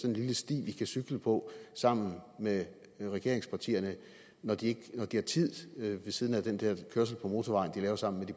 en lille sti vi kan cykle på sammen med regeringspartierne når de har tid ved siden af den der kørsel på motorvejen de laver sammen